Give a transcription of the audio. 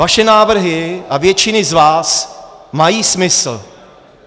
Vaše návrhy, a většiny z vás, mají smysl.